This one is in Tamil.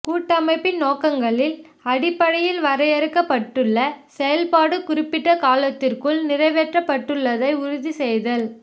கூட்டமைப்பின் நோக்கங்களின் அடிப்படையில் வரையறுக்கப்பட்டுள்ள செயல்பாடு குறிப்பிட்ட காலத்திற்குள் நிறைவேற்றப்பட்டுள்ளதை உறுதி செய்தல்